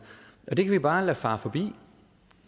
og det kan vi bare lade fare forbi